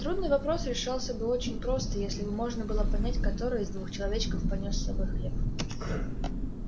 трудный вопрос решался бы очень просто если бы можно было понять который из двух человечков понёс с собой хлеб